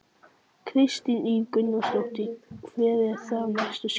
Kristín Ýr Gunnarsdóttir: Hver eru þá næstu skref?